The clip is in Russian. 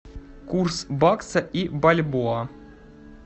курс бакса и бальбоа